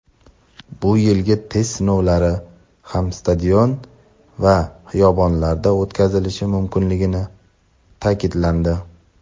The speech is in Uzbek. bu yilgi test sinovlari ham stadion va xiyobonlarda o‘tkazilishi mumkinligi ta’kidlandi.